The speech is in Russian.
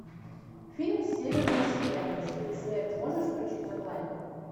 фильм северное сияние следы смерти можешь включить онлайн